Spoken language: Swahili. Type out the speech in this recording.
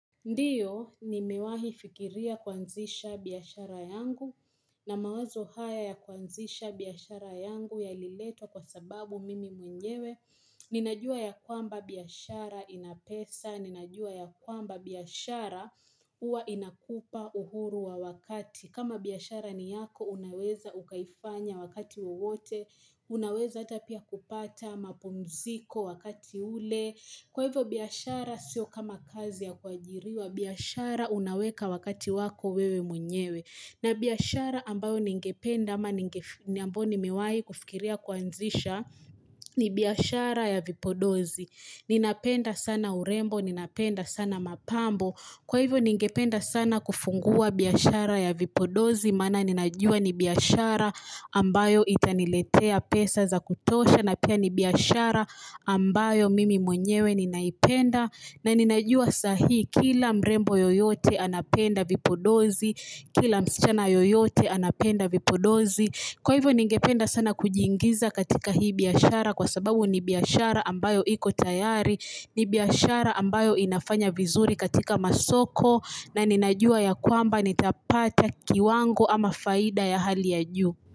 Ndiyo ni mewahi fikiria kuanzisha biashara yangu na mawazo haya ya kuanzisha biashara yangu ya liletwa kwa sababu mimi mwenyewe Ninajua ya kwamba biashara inapesa, ninajua ya kwamba biashara uwa inakupa uhuru wa wakati kama biashara niyako unaweza ukaifanya wakati wowote, unaweza ata pia kupata mapumziko wakati ule Kwa hivyo biashara sio kama kazi ya kuajiriwa, biashara unaweka wakati wako wewe mwenyewe. Na biashara ambayo ningependa ama ninge ambayo nimewai kufikiria kuanzisha, ni biashara ya vipodozi. Ninapenda sana urembo, ninapenda sana mapambo. Kwa hivyo ningependa sana kufungua biashara ya vipodozi, maana ninajua nibiashara ambayo itaniletea pesa za kutosha na pia nibiashara ambayo mimi mwenyewe ninaipenda na ninajua sahi kila mrembo yoyote anapenda vipodozi kila msichana yoyote anapenda vipodozi kwa hivyo ningependa sana kujiingiza katika hii biashara kwa sababu nibiashara ambayo iko tayari nibiashara ambayo inafanya vizuri katika masoko na ninajua ya kwamba nitapata kiwango ama faida ya hali ya juu.